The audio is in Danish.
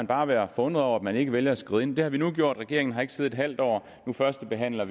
bare være forundret over at man ikke valgte at skride ind der har vi nu gjort regeringen har ikke siddet halvt år vi førstebehandler